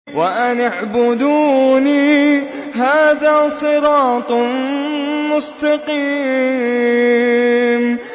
وَأَنِ اعْبُدُونِي ۚ هَٰذَا صِرَاطٌ مُّسْتَقِيمٌ